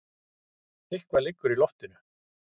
Eitthvað liggur í loftinu!